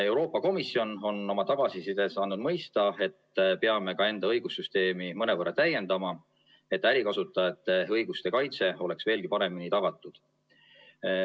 Euroopa Komisjon on oma tagasisides andnud mõista, et peame ka enda õigussüsteemi mõnevõrra täiendama, et ärikasutajate õiguste kaitse oleks veelgi paremini tagatud.